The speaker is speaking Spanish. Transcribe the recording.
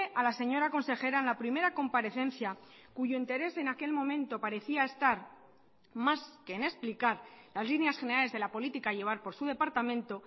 a la señora consejera en la primera comparecencia cuyo interés en aquel momento parecía estar más que en explicar las líneas generales de la política a llevar por su departamento